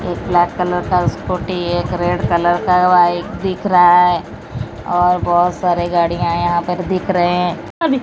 एक black colour का scooty है एक रेड कलर का बाइक दिख रहा है और बहोत सारे गाड़ियां हैं यहां पर दिख रहे है।